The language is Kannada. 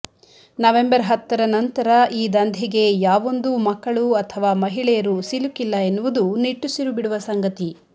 ನವೆಂಬರ್ ಹತ್ತರ ನಂತರ ಈ ದಂಧೆಗೆ ಯಾವೊಂದೂ ಮಕ್ಕಳು ಅಥವಾ ಮಹಿಳೆಯರು ಸಿಲುಕಿಲ್ಲ ಎನ್ನುವುದು ನಿಟ್ಟುಸಿರು ಬಿಡುವ ಸಂಗತಿ